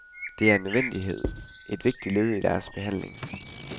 Det er en nødvendighed, et vigtigt led i deres behandling.